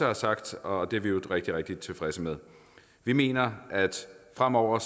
har sagt og det er vi i øvrigt rigtig rigtig tilfredse med vi mener at fremover